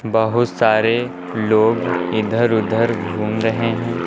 बहुत सारे लोग इधर उधर घूम रहे हैं।